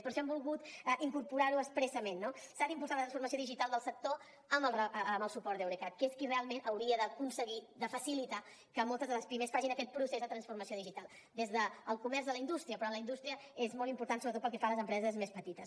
per això hem volgut incorporar ho expressament no s’ha d’impulsar la transformació digital del sector amb el suport d’eurecat que és qui realment hauria d’aconseguir de facilitar que moltes de les pimes facin aquest procés de transformació digital des del comerç a la industria però a la indústria és molt important sobretot pel que fa a les empreses més petites